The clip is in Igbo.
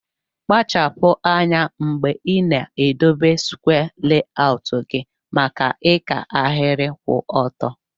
Kpachapu anya mgbe ina edobe skwee layọut gi maka ika ahiri kwụ ọtọ.